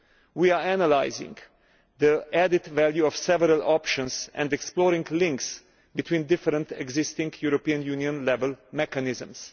We are analysing the added value of several options and exploring links between different existing European Union level mechanisms.